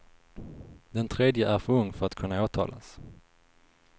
Den tredje är för ung för att kunna åtalas.